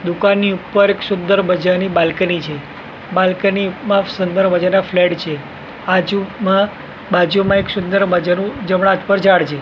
દુકાન ની ઉપર એક સુંદર મજાની બાલ્કની છે બાલ્કની માં સુંદર મજાના ફ્લેટ છે બાજુમાં બાજુમાં એક સુંદર મજાનું જમણા હાથ પર ઝાડ છે.